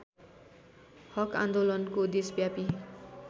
हक आन्दोलनको देशव्यापी